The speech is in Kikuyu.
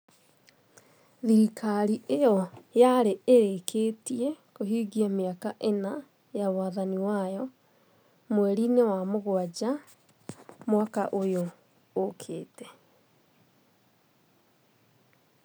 Thirikari ĩyo yarĩ ĩrĩkĩtie kũhingia mĩaka ĩna ya wathani wayo mweri-inĩ wa mũgwanja mwaka ũyũ ũkĩte.